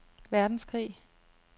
verdenskrig